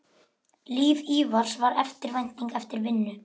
Líf Ívars var eftirvænting eftir vinnu.